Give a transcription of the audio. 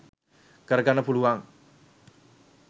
කර ගන්න පුළුවන්.